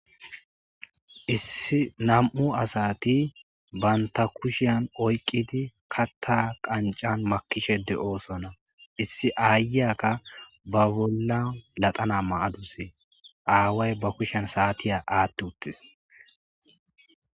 Nam'u asati banta kushani oykidi kata qancan makidi de'osona. Issi ayiyaka ba bolla paxana mayaduse away ba kushiyan asata athi uttida